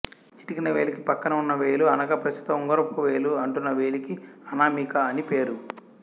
చిటికెన వేలికి పక్కన ఉన్న వేలు అనగా ప్రస్తుతం ఉంగరపువేలు అంటున్న వేలికి అనామిక అని పేరు